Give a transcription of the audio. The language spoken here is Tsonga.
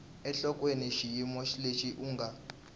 enhlokweni xiyimo lexi u nga